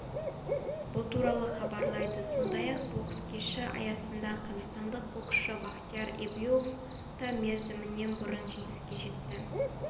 бұл туралы хабарлайды сондай-ақ бокс кеші аясында қазақстандық боксшы бахтияр эюбов та мерзімінен бұрын жеңіске жетті